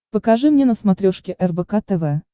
покажи мне на смотрешке рбк тв